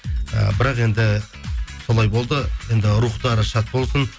і бірақ енді солай болды енді рухтары шат болсын